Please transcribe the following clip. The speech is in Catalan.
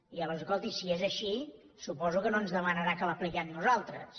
i aleshores escolti si és així suposo que no ens demanarà que l’apliquem nosaltres